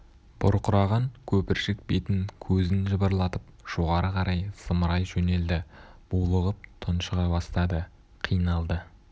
бұрқыраған көпіршік бетін көзін жыбырлатып жоғары қарай зымырай жөнелді булығып тұншыға бастады қиналды